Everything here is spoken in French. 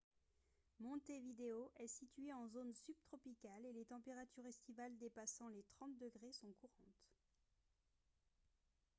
montevideo est situé en zone subtropicale et les températures estivales dépassant les 30 °c sont courantes